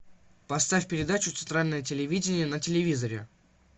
поставь передачу центральное телевидение на телевизоре